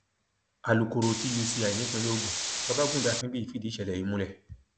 alūkkóró tuci nípínlẹ ogun babagundé akínbíyì fìdí ìṣẹlẹ yìí múlẹ